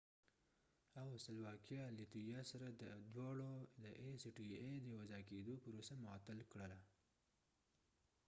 لیتويا latviaاو سلواکېا slovakia دواړو د ای سی ټی ای acta سره د یو ځای کېدو پروسه معطل کړه